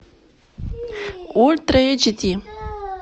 ультра эйч ди